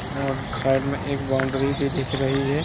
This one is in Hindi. अ-साइड मे एक बॉउन्डरी भी दिख रही है।